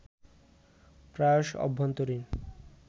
প্রায়শ অভ্যন্তরীণ